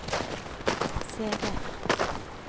CD